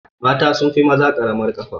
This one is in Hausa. Mata sunfi maza ƙaramar kafa